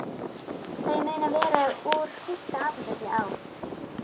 Þau munu vera úr fyrsta apóteki á